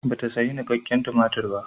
Bata sayi nikakken tumatir ba.